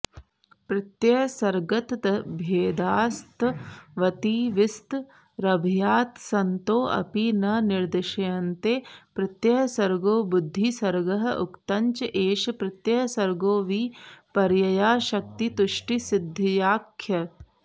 प्रत्ययसर्गतद्भेदास्त्वतिविस्तरभयात्सन्तोऽपि न निदर्श्यन्ते प्रत्ययसर्गो बुद्धिसर्गः उक्तञ्च एष प्रत्ययसर्गो विपर्ययाशक्तितुष्टिसिद्ध्याख्यः